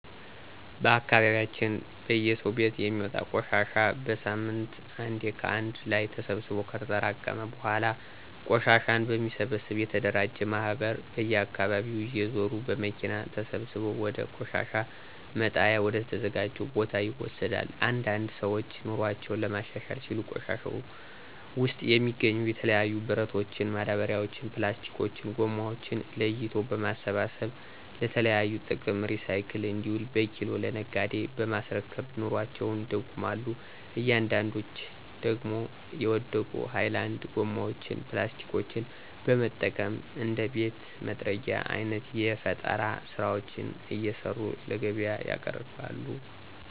በአካባቢያችን በየሰው ቤት የሚወጣን ቆሻሻ በሳምንት አንዴ ከአንድ ላይ ተሰብስቦ ከተጠራቀመ በኃላ ቆሻሻን በሚሰበሰብ የተደራጀ ማህበር በየአካባቢው እየዞረ በመኪና ተሰብስቦ ወደ ቆሻሻ መጣያ ወደ ተዘጀው ቦታ ይወሰዳል። አንዳንድ ሰዎች ኑሮአቸውን ለማሻሻል ሲሉ ከቆሻሻው ውስጥ የሚገኙ የተለያዩ ብረቶችን፣ ማዳበሪያዎችን፣ ፕላስቲኮችን(ጎማዎችን) ለይቶ በመሰብሰብ ለተለያዩ ጥቅም ሪሳይክል እንዲውሉ በኪሎ ለነጋዴ በማስረከብ ኑሮአቸውን ይደጉማሉ አንዳንዶች ደግሞ የወደቁ ሀይላንድ ጎማዎችን (ፕላስቲኮችን) በመጠቀም እንደ ቤት መጥረጊያ አይነት የፈጠራ ስራዎችን እየሰሩ ለገቢያ ያቀርባሉ።